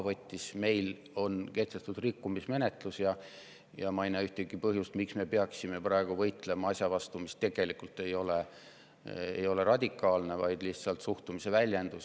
Meie suhtes on rikkumismenetlus ja ma ei näe ühtegi põhjust, miks me peaksime praegu võitlema asja vastu, mis tegelikult ei ole radikaalne, vaid lihtsalt suhtumise väljendus.